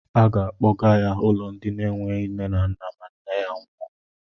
Aga akpọga ya n'ụlọ ndị na-enweghi nne ma nne ya nwụọ.